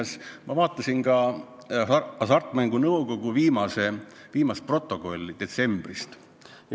Muuseas, ma vaatasin ka Hasartmängumaksu Nõukogu viimase koosoleku protokolli detsembrist.